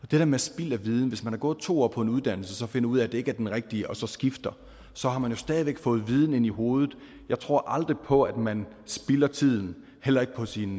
det der med spild af viden hvis man har gået to år på en uddannelse og finder ud af at det ikke er den rigtige og så skifter så har man jo stadig væk fået viden ind i hovedet jeg tror aldrig på at man spilder tiden heller ikke på sin